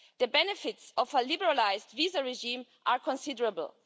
The benefits of a liberalised visa regime are considerable.